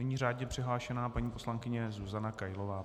Nyní řádně přihlášená paní poslankyně Zuzana Kailová.